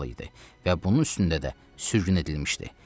və bunun üstündə də sürgün edilmişdi.